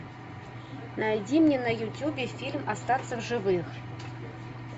найди мне на ютубе фильм остаться в живых